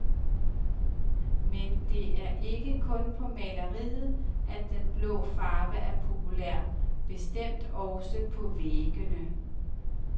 Men det er ikke kun på maleriet, at den blå farve er populær, bestemt også på væggene.